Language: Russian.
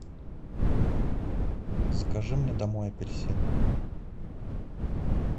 закажи мне домой апельсин